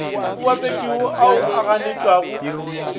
a bapetšago ao a ganetšwago